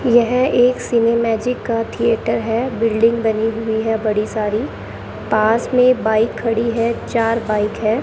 यह एक cine magic का थिएटर है बिल्डिंग बनी हुई है बड़ी सारी पास में बाइक खड़ी है चार बाइक है।